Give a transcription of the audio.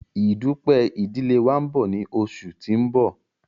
Ìdúpẹ̀ idìlé wa nbọ ni oṣù tí n bọ̀